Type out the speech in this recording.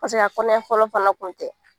a kɔnɔɲɛ fɔlɔ fana kun tɛ